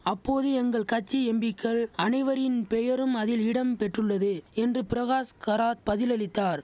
அப்போது எங்கள் கட்சி எம்பிக்கள் அனைவரின் பெயரும் அதில் இடம் பெற்றுள்ளது என்று பிரகாஷ் கராத் பதிலளித்தார்